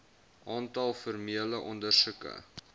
aantal formele ondersoeke